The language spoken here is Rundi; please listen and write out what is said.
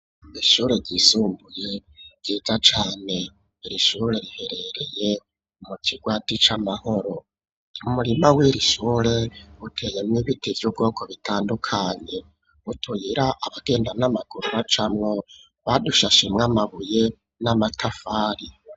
Ishure ryisumbuye ryiza cane irishure riherereye mu kigwati c'amahoro umurima w'irishure uteye mwo ibiti vy'ubwoko bitandukanye utuyira abagenda n'amaguru macamwo badushashemwe amabuye n'amatafari.